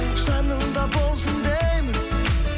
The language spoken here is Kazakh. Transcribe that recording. жаныңда болсын деймін